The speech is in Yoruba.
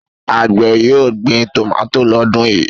Àgbẹ̀ yóò gbin tòmátì lọ́dún yìí?